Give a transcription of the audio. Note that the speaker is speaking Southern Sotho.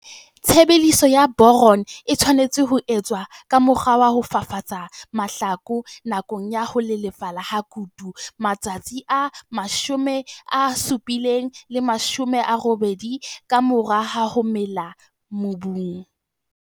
Tshebediso ya boron e tshwanetse ho etswa ka mokgwa wa ho fafatsa mahlaku nakong ya ho lelefala ha kutu, matsatsi a 70 80 ka mora ho mela mobung.